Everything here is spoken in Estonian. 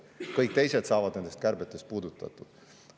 Kõik teised saavad nendest kärbetest puudutatud.